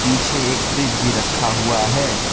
पीछे एक फ्रिज भी रखा हुआ है।